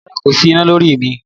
Rárá kò sí iná lórí mi